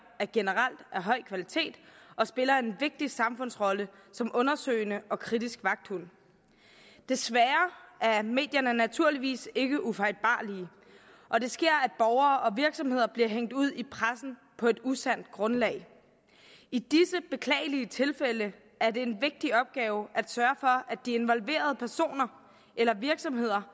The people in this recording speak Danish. er generelt af høj kvalitet og spiller en vigtig samfundet som undersøgende og kritisk vagthund desværre er medierne naturligvis ikke ufejlbarlige og det sker at borgere og virksomheder bliver hængt ud i pressen på et usandt grundlag i disse beklagelige tilfælde er det en vigtig opgave at sørge for at de involverede personer eller virksomheder